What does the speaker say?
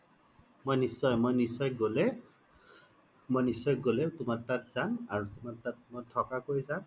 মই নিশ্চয়ই মই নিশ্চয়ই গ্'লে, মই নিশ্চয়ই গ্'লে তুমাৰ তাত যাম আৰু তুমাৰ তাত মই থকা কৈ যাম